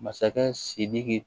Masakɛ sidiki